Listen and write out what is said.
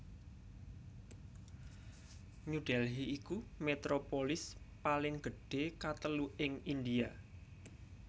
New Delhi iku metropolis paling gedhé katelu ing India